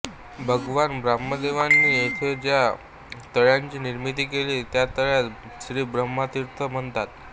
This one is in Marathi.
भगवान ब्रह्मदेवांनी येथे ज्या तळ्याची निर्मिती केली त्या तळ्यास श्रीब्रह्मतीर्थ म्हणतात